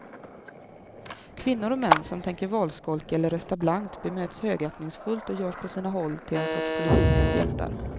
Kvinnor och män som tänker valskolka eller rösta blankt bemöts högaktningsfullt och görs på sina håll till en sorts politikens hjältar.